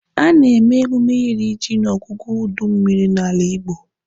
A na-eme emume iri ji n'ọgwụgwụ udu mmịrị n'ala Igbo